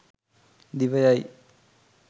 දිව යයි.